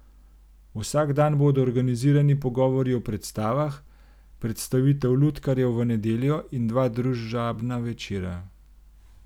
Vsak dan bodo organizirani pogovori o predstavah, predstavitev lutkarjev v nedeljo in dva družabna večera.